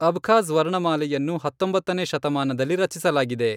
Abkhaz ವರ್ಣಮಾಲೆಯನ್ನು ಹತ್ತೊಂಬತ್ತನೇ ಶತಮಾನದಲ್ಲಿ ರಚಿಸಲಾಗಿದೆ.